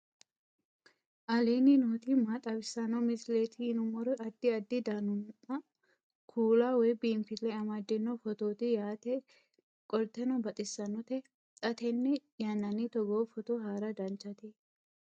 aleenni nooti maa xawisanno misileeti yinummoro addi addi dananna kuula woy biinfille amaddino footooti yaate qoltenno baxissannote xa tenne yannanni togoo footo haara danchate